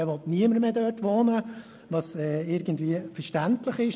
Da will niemand mehr wohnen, was irgendwie verständlich ist.